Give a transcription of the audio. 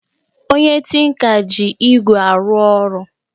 Onye tinka ji igwé arụ ọrụ